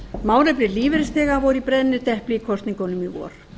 málefni lífeyrisþega voru í brennidepli í kosningunum í vor